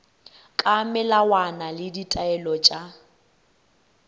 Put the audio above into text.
ka melawana le ditaelo tša